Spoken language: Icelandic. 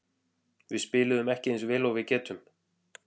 Við spiluðum ekki eins vel og við getum.